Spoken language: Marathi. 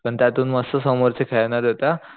पण त्यात पण मस्त समोरचे खेळणारे होते हा